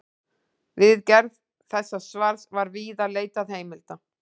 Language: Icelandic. Við gerð þessa svars var víða leitað heimilda.